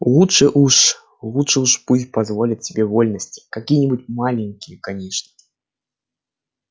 лучше уж лучше уж пусть позволит себе вольности какие-нибудь маленькие конечно